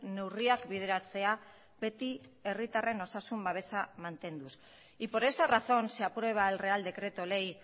neurriak bideratzea beti herritarren osasun babesa mantenduz y por esa razón se aprueba el real decreto ley